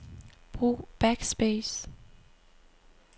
Brug backspace.